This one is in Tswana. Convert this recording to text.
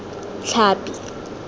tlhapi